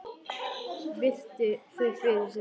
Virti þau fyrir sér.